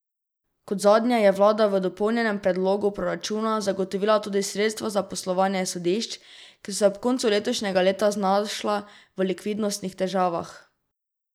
Kot zadnje je vlada v dopolnjenem predlogu proračunu zagotovila tudi sredstva za poslovanje sodišč, ki so se ob koncu letošnjega leta znašla v likvidnostnih težavah.